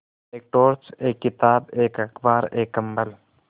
एक टॉर्च एक किताब एक अखबार एक कम्बल